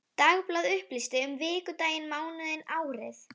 Dagblað upplýsti um vikudaginn, mánuðinn, árið.